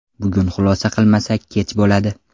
Bugun xulosa qilmasak kech bo‘ladi.